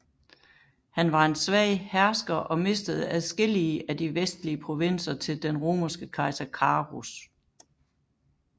Han var en svag hersker og mistede adskillige af de vestlige provinser til den romerske kejser Carus